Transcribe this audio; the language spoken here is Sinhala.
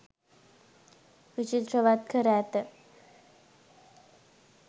විචිත්‍රවත් කර ඇත.